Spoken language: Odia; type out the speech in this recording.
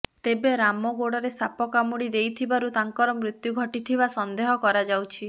ତେବେ ବାମ ଗୋଡରେ ସାପ କାମୁଡି ଦେଇଥିବାରୁ ତାଙ୍କର ମୃତ୍ୟୁ ଘଟିଥିବା ସନ୍ଦେହ କରାଯାଉଛି